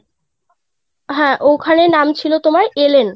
হ্যাঁ ওখানে নাম ছিল তোমার এলেন